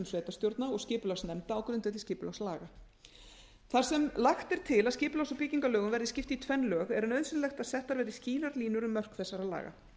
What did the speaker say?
sveitarstjórna og skipulagsnefnda á grundvelli skipulagslaga þar sem lagt er til að skipulags og byggingarlögum verði skipt í tvenn lög er nauðsynlegt að settar verði skýrar línur um mörk þessara laga